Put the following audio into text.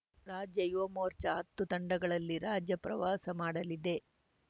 ರಾಜ್ಯ ಯುವ ಮೋರ್ಚಾ ಹತ್ತು ತಂಡಗಳಲ್ಲಿ ರಾಜ್ಯಪ್ರವಾಸ ಮಾಡಲಿದೆ